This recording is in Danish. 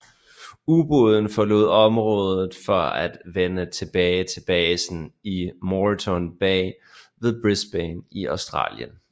Ubåden forlod området for at vende tilbage til basen i Moreton Bay ved Brisbane i Australien